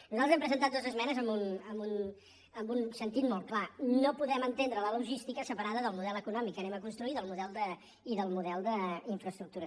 nosaltres hem presentat dues esmenes amb un sentit molt clar no podem entendre la logística separada del model econòmic que hem de construir i del model d’infraestructures